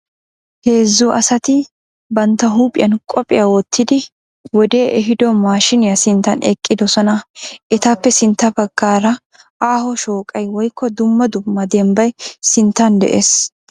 Heezzu asati banttaa huuphiyan qophiya wottidi wodee ehiido maashshiiniya sinttan eqqidosona. Etappe sintta baggaara aaho shooqay woykko dumma dumma dembbay sinttan de'ees.